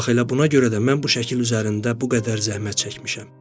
Bax elə buna görə də mən bu şəkil üzərində bu qədər zəhmət çəkmişəm.